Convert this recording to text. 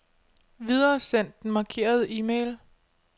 Videresend den markerede e-mail.